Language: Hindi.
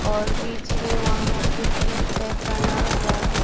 और बीच में वहां पे फील्ड टाइप बना हुआ है।